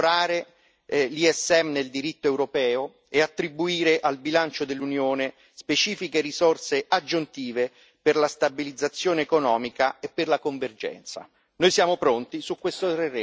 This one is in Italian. Realismo intelligente è incorporare il MES nel diritto europeo e attribuire al bilancio dell'Unione specifiche risorse aggiuntive per la stabilizzazione economica e per la convergenza.